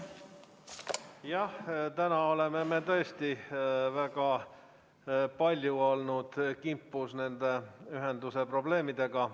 Jah, täna oleme me tõesti väga palju olnud kimpus nende ühenduse probleemidega.